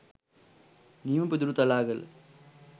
නියම පිදුරුතලාගල